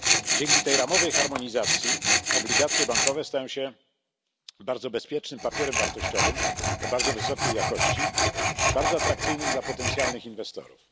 Dzięki tej ramowej harmonizacji obligacje bankowe stają się bardzo bezpiecznym papierem wartościowym o bardzo wysokiej jakości, bardzo atrakcyjnym dla potencjalnych inwestorów.